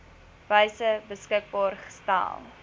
wyse beskikbaar gestel